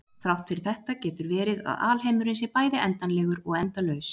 þrátt fyrir þetta getur verið að alheimurinn sé bæði endanlegur og endalaus